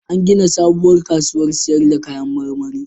An gina sabuwar kasuwar sayar da kayan marmari.